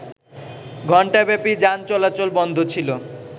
ঘণ্টাব্যাপী যান চলাচল বন্ধ ছিল